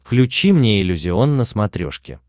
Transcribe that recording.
включи мне иллюзион на смотрешке